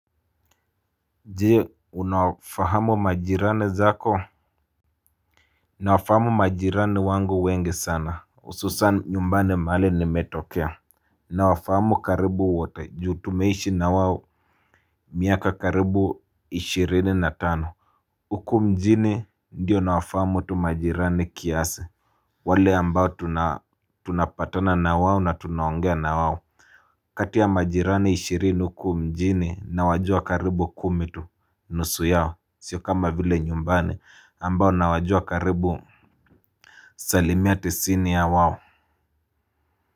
Je unafahamu majirani zako. Nawafahamu majirani wangu wengi sana hususan nyumbani mahali nimetokea. Nawafahamu karibu wote ju tumeishi na wao. Miaka karibu ishirini na tano. Huku mjini ndiyo nawafahamu tu majirani kiasi. Wale ambao tunapatana na wao na tunawongea na wao kati ya majirani ishirinu huku mjini nawajua karibu kumi tu nusu yao sio kama vile nyumbani ambao nawajua karibu. Salimia tisini ya wao.